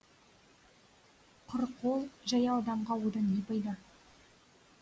құр қол жаяу адамға одан не пайда